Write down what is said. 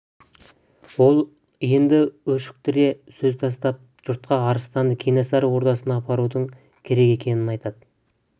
ол енді өшіктіре сөз тастап жұртқа арыстанды кенесары ордасына апарудың керек екенін айтады